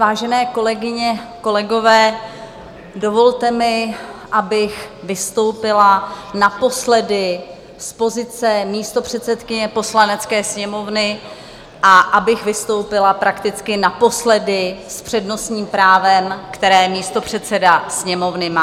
Vážené kolegyně, kolegové, dovolte mi, abych vystoupila naposledy z pozice místopředsedkyně Poslanecké sněmovny a abych vystoupila prakticky naposledy s přednostním právem, které místopředseda Sněmovny má.